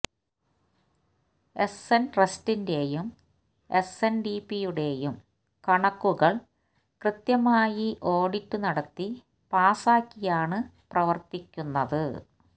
SN ട്രസ്റ്റിന്റേയും എസ്എന്ഡിപിയുടേയും കണക്കുകള് കൃത്യമായി ഓഡിറ്റ് നടത്തി പാസ്സാക്കിയാണ് പ്രവര്ത്തിക്കുന്നത്